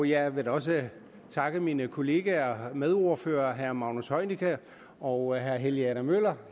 jeg vil da også takke mine kollegaer og medordførere herre magnus heunicke og herre helge adam møller